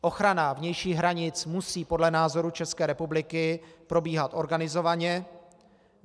Ochrana vnějších hranic musí podle názoru České republiky probíhat organizovaně.